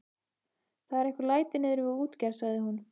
Það eru einhver læti niðri við útgerð, sagði hún.